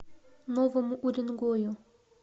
новому уренгою